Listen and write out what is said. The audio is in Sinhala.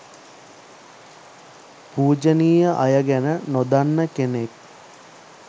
පූජනීය අය ගැන නොදන්න කෙනෙක්